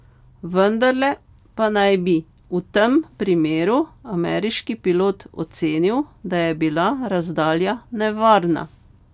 Vendarle pa naj bi v tem primeru ameriški pilot ocenil, da je bila razdalja nevarna.